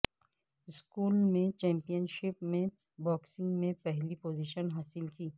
school championship میں boxing میں پہلی پوزیشن حاصل کی